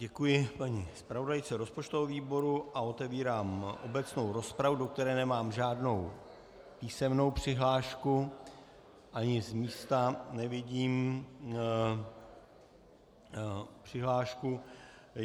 Děkuji paní zpravodajce rozpočtového výboru a otevírám obecnou rozpravu, do které nemám žádnou písemnou přihlášku ani z místa nevidím přihlášku.